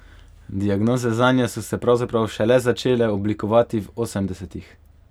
Diagnoze zanje so se pravzaprav šele začele oblikovati v osemdesetih.